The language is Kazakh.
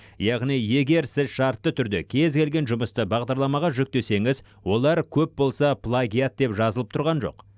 яғни егер сіз шартты түрде кез келген жұмысты бағдарламаға жүктесеңіз олар көп болса плагиат деп жазылып тұрған жоқ